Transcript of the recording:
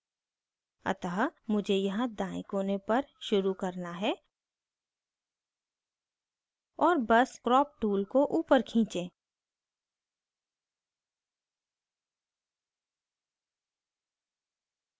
अतः मुझे यहाँ दायें कोने पर शुरू करना है और बस crop tool को ऊपर खींचें